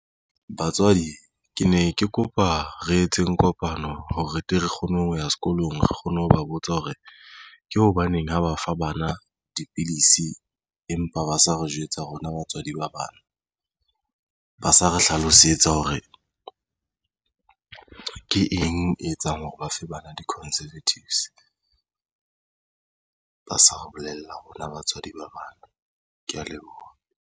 Batswadi kene ke kopa re etseng kopano ho re tle re kgone ho ya sekolong. Re kgone ho ba botsa hore ke hobaneng ho ba fa bana dipilisi empa ba sa re jwetsa rona batswadi ba bana ba sa re hlalosetsa hore ke eng e etsang hore ba fe bana di-contraceptives ba sa re bolella rona batswadi ba bana. Ke ya leboha.